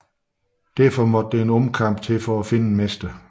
Derfor måtte der en omkamp til for at finde en mester